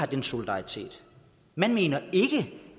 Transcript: den solidaritet men mener ikke